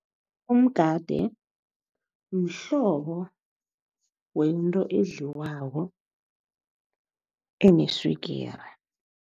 Umgade mhlobo wento edliwako eneswigiri.